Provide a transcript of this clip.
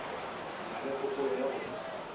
na le kgopolo ya go